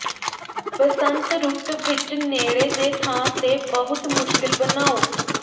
ਬਸੰਤ ਰੁੱਤ ਵਿੱਚ ਨੇੜੇ ਦੇ ਥਾਂ ਤੇ ਬਹੁਤ ਮੁਸ਼ਕਿਲ ਬਣਾਉ